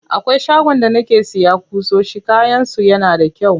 Akwai shagon da nake siya ƙusoshi, kayan su yana da kyau.